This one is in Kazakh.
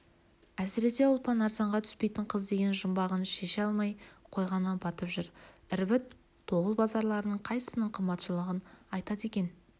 әсіресе ұлпан арзанға түспейтін қыз деген жұмбағын шеше алмай қойғаны батып жүр ірбіт тобыл базарларының қайсысының қымбатшылығын айтады екен